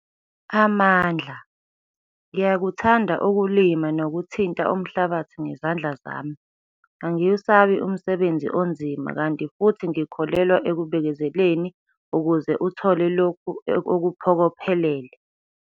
Amandla - Ngiyakuthanda ukulima nokuthinta umhlabathi ngezandla zami. Angiwusabi umsebenzi onzima kanti futhi ngikholelwa ekubekezeleni ukuze uthole lokhu okuphokophelele.